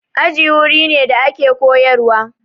Aji wuri ne da ake koyarwa.